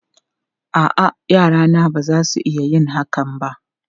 A'a, yarana ba za su iya yin hakan ba.